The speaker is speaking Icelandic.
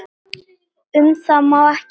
Um það má ekki fjalla.